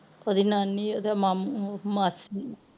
ਓਦੀ ਨਾਨੀ ਓਹਦੇ ਮਾਮੂ ਤੇ ਮਾਸੀ